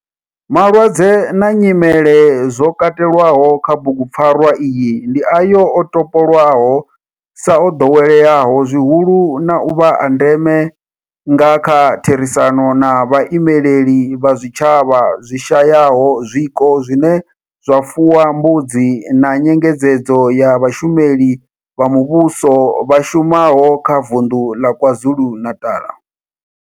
Malwadze na nyimele zwo katelwaho kha bugu pfarwa iyi ndi ayo o topolwaho sa o doweleaho zwihulu na u vha a ndeme nga kha therisano na vhaimeleli vha zwitshavha zwi shayaho zwiko zwine zwa fuwa mbudzi na nyengedzedzo ya vhashumeli vha muvhusho vha shumaho kha Vundu la KwaZulu-Natal.